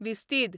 विस्तीद